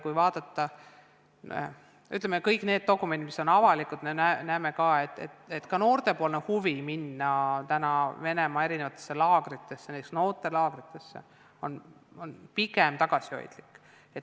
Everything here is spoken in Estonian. Kui vaadata üle kõik need dokumendid, mis on avalikud, siis me näeme, et ka noorte endi huvi minna Venemaale laagritesse, näiteks noortelaagrisse, on pigem tagasihoidlik.